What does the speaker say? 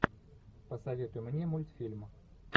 посоветуй мне мультфильм